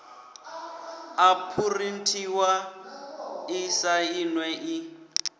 a phurinthiwa i sainwe i